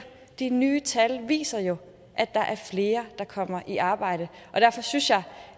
de nye tal viser jo at der er flere der kommer i arbejde og derfor synes jeg